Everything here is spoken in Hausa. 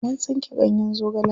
Mun tsinko ganyen zogalen.